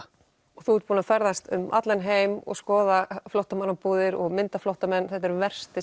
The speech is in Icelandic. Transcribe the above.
og þú ert búinn að ferðast um allan heim og skoða flóttamannabúðir og mynda flóttamenn þetta er versti